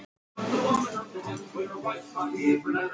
Þess vegna fannst mér ég kannast við hann.